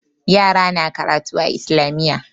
Yara na karatu a Islamiyya.